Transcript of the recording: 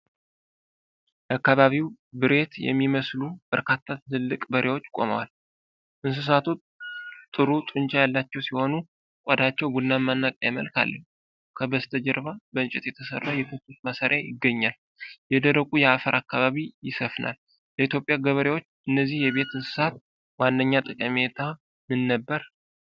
የአካባቢው ብሬት የሚመስሉ በርካታ ትልልቅ በሬዎች ቆመዋል። እንስሳቱ ጥሩ ጡንቻ ያላቸው ሲሆኑ፣ ቆዳቸው ቡናማ እና ቀይ መልክ አለው። ከበስተጀርባ በእንጨት የተሰራ የከብቶች ማሰሪያ ይገኛል። የደረቁ የአፈር አካባቢ ይሰፍናል። ለኢትዮጵያ ገበሬዎች እነዚህ የቤት እንስሳት ዋነኛ ጠቀሜታ ምን ነበር?